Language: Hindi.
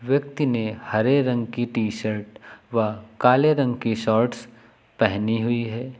व्यक्ति ने हरे रंग की टी शर्ट व काले रंग की शॉर्ट्स पहनी हुई है।